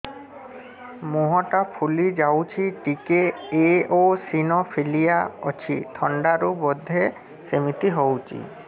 ମୁହଁ ଟା ଫୁଲି ଯାଉଛି ଟିକେ ଏଓସିନୋଫିଲିଆ ଅଛି ଥଣ୍ଡା ରୁ ବଧେ ସିମିତି ହଉଚି